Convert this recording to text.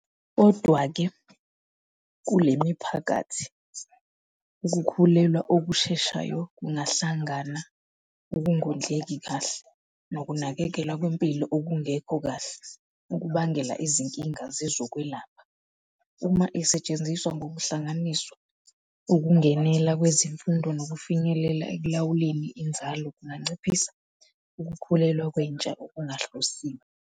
Kodwa-ke, kule miphakathi, ukukhulelwa okusheshayo kungahlangana ukungondleki kahle nokunakekelwa kwempilo okungekho kahle ukubangela izinkinga zezokwelapha. Uma isetshenziswa ngokuhlanganiswa, ukungenela kwezemfundo nokufinyelela ekulawuleni inzalo kunganciphisa ukukhulelwa kwentsha okungahlosiwe.